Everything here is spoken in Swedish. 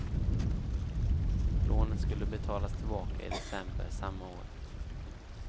Lånet skulle betalas tillbaka i december samma år.